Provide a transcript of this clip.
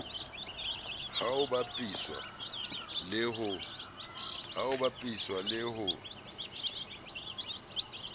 ha ho bapiswa le ho